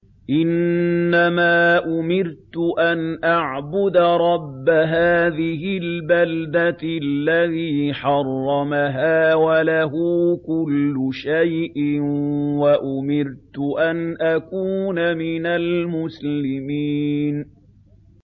إِنَّمَا أُمِرْتُ أَنْ أَعْبُدَ رَبَّ هَٰذِهِ الْبَلْدَةِ الَّذِي حَرَّمَهَا وَلَهُ كُلُّ شَيْءٍ ۖ وَأُمِرْتُ أَنْ أَكُونَ مِنَ الْمُسْلِمِينَ